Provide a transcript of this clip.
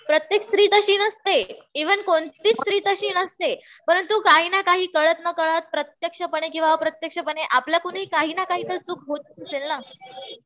प्रत्येक स्त्री तशी नसते. इव्हन कोणतीच स्त्री तशी नसते. परंतु काही ना काही कळत नकळत प्रत्यक्षपणे किंवा अप्रत्यक्षपणे आपल्याकडूनही काही ना काही चूक होत असेल ना.